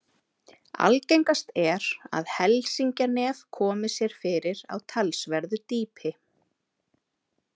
Algengast er að helsingjanef komi sér fyrir á talsverðu dýpi.